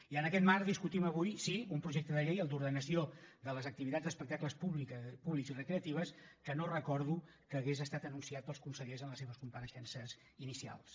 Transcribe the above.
i en aquest marc discutim avui sí un projecte de llei el d’ordenació de les activitats d’espectables públics i recreatives que no recordo que hagués estat anunciat pels consellers en les seves compareixences inicials